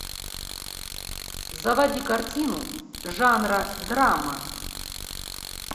заводи картину жанра драма